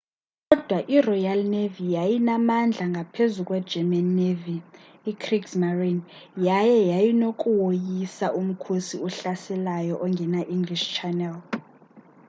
kodwa iroyal navy yayinamandla ngaphezu kwegerman navy kriegsmarine” yaye yayinokuwoyisa umkhosi ohlaselayo ongena nge-english channel